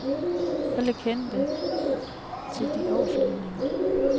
Alle kendte til de overflyvninger.